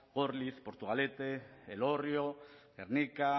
gorliz portugalete elorrio gernika